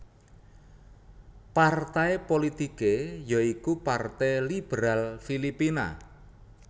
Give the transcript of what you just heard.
Partai politike ya iku Partai Liberal Filipina